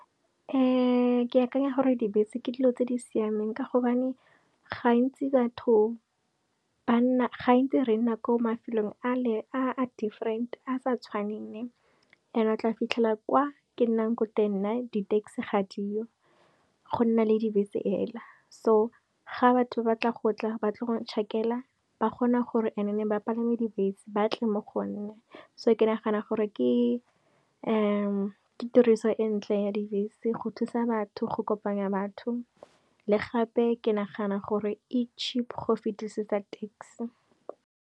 Ke akanya gore dibese ke dilo tse di siameng ka gobane ga ntsi re nna ko mafelong a a different, a sa tshwaneng and o tla fitlhela kwa ke nnang ko teng nna di taxi ga di yo. Go nna le dibese fela, so ga batho ba batla go tla ba tle go nchakela ba kgona gore and e ba palame dibese batle mo gonna so ke nagana gore ke ke tiriso e ntle ya dibese, go thusa batho, go kopanya batho, le gape ke nagana gore e cheap go fetisetsa taxi.